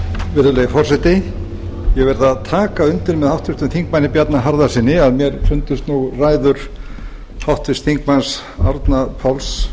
virðulegi forseti ég verð að taka undir með háttvirts þingmanns bjarna harðarsyni að mér fundust ræður háttvirtum þingmanni árna páls